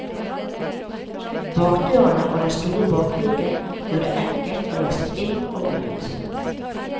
Bakdørene og den store bakluken gjør det enkelt å laste inn og ut.